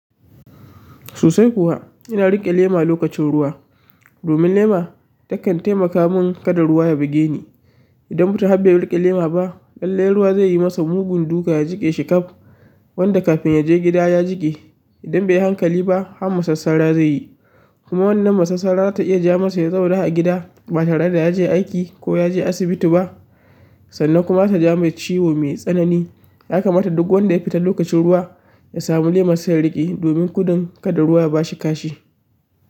Sosai kuwa, ina riƙe lema lokacin ruwa. Domin lema ta kan taimaka mun kada ruwa ya buge ni. Idan mutum har bai riƙe lema ba, lallai ruwa zai yi masa mugun duka ya jiƙe shi kaf wanda kafin ya je gida ya jiƙe. Idan bai yi hankali ba, har masasara zai yi. Kuma wannan masassara zata iya ja masa ya zauna a gida ba tare da ya je aiki ko ya je asibiti ba. Sannan kuma zata ja mai ciwo mai tsanani. Ya kamata duk wanda ya fita lokacin ruwa, ya samu lema su yi riƙe domin gudun kada ruwa ya ba shi kashi.